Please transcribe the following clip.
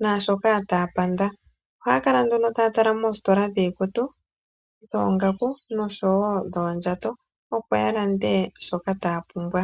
naashoka taya panda. Ohaya kala nduno taya tala moositola dhiikutu, dhoongaku, noshowo dhoodjato, opo ya lande shoka taya pumbwa.